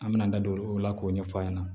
An mɛna an da don o la k'o ɲɛfɔ a ɲɛna